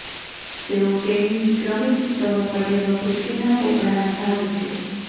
તેઓ તેણીની ક્રમિક સ્તરો પડેલો પૃથ્વીના પોપડાના ભાગ છે